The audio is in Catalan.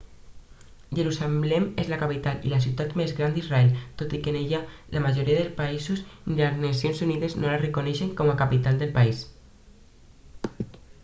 jerusalem és la capital i la ciutat més gran d'israel tot i que ni la majoria dels països ni les nacions unides no la reconeixen com a capital del país